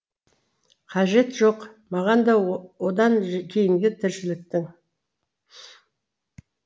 қажеті жоқ маған да одан кейінгі тіршіліктің